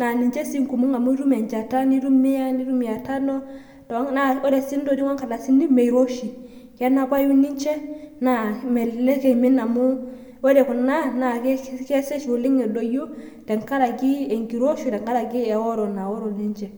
,naa niche sii ingumok amu itum echata, nitum mia tano , naamiroshi kenapayu niche naa melelek imin naa ore kuna naa kesesh edoyio tengaraki inkiroshi.